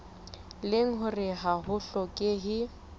leng hore ha ho hlokehe